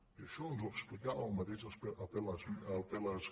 i això ens ho explicava el mateix apel·les